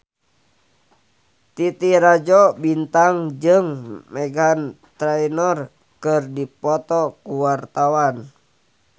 Titi Rajo Bintang jeung Meghan Trainor keur dipoto ku wartawan